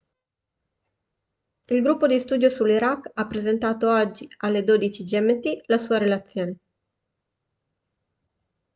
il gruppo di studio sull'iraq ha presentato oggi alle 12.00 gmt la sua relazione